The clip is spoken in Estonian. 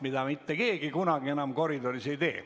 Nüüd mitte keegi enam koridoris seda ei tee.